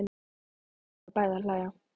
Nú förum við bæði að hlæja.